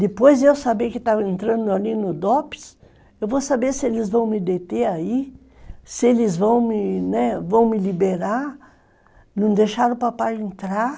Depois eu saber que estava entrando ali no Dopes, eu vou saber se eles vão me deter aí, se eles vão me liberar, não deixaram o papai entrar.